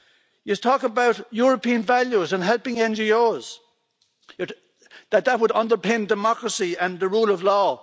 You talk about European values and helping NGOs that that would underpin democracy and the rule of law.